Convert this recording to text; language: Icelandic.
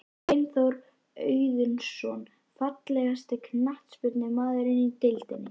Steinþór Auðunsson Fallegasti knattspyrnumaðurinn í deildinni?